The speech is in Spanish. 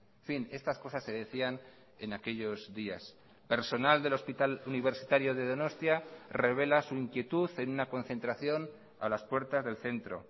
en fin estas cosas se decían en aquellos días personal del hospital universitario de donostia revela su inquietud en una concentración a las puertas del centro